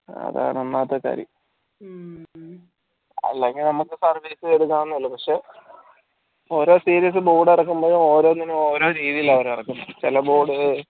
അതാണ് ഒന്നാമത്തെ കാര്യം അല്ലെങ്കിൽ നമ്മക്ക് service എടക്കാവുന്നതേ ഉള്ളു പക്ഷെ ഓരോ series board ഇറക്കുമ്പഴും ഓരോന്നിനും ഓരോ രീതിയിൽ അവരർക്കും ചെല board കൾ